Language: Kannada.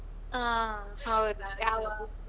ಹಾ ಹೌದ ಯಾವ .